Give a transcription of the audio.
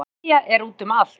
Þessi leðja er út um allt